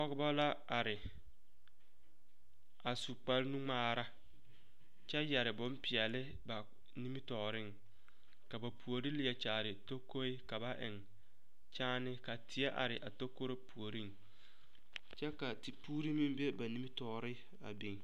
Pɔgeba la are a su kparenu ŋmaara kyɛ yɛre bonpeɛlle ba nimitɔɔreŋ ka ba puori leɛ kyaare takoe ka ba eŋ kyaane ka teɛ are a takoro puoriŋ kyɛ ka tepuuri be a ba nimitɔɔre a biŋ.